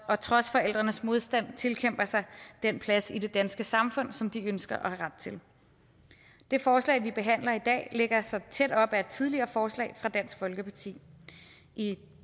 og trods forældrenes modstand tilkæmper sig den plads i det danske samfund som de ønsker og har ret til det forslag vi behandler i dag lægger sig tæt op af et tidligere forslag fra dansk folkeparti i